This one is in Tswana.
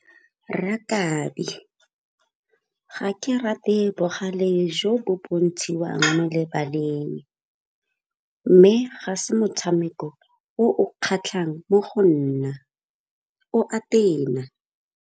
Rakabi, ga ke rate bogale jo bo bontshiwang lebaleng mme ga se motshameko o o kgatlhang mo go nna, o a tena.